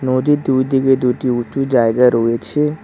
নদীর দুদিকে দুটি উঁচু জায়গা রয়েছে।